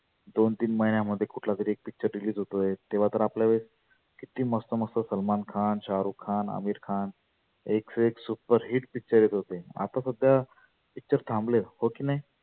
दोन तीन महिण्यामध्ये कुठला तरी एक picture release होतो आहे. तेव्हा तर आपल्या वेळेस किती मस्त मस्त सलमान खान, शाहरुख खान, अमिर खान एक से एक super hit picture येत होते. आता सध्या picture थांबले हो की नाही?